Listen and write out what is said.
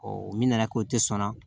o minɛna k'o tɛ sɔn